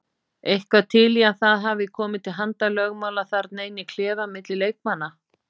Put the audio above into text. Eitthvað til í að það hafi komið til handalögmála þarna inn í klefa milli leikmanna?